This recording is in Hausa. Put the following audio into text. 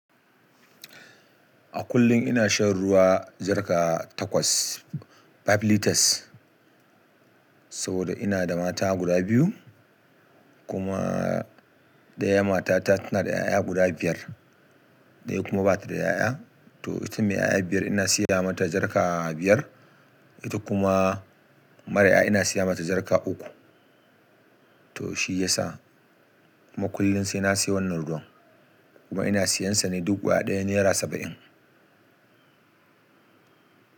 A kullum ina shan ruwa jarka takwas, five litres. Saboda ina da mata guda biyu kuma daya mata ta tana da 'ya'ya guda biyar, daya kuma bata da 'ya'ya. To, ita mai 'ya'ya biyar ina siya mata jarka biyar. Ita kuma mara 'ya'ya ina siya mata jarka uku. To shi yasa kuma kullum sai na siyo wannan ruwan, kuma ina siyansa ne duk guda daya naira saba’in.